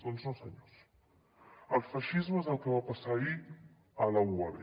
doncs no senyors el feixisme és el que va passar ahir a la uab